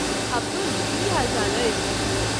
अब्दुल, की हालचाल अछि?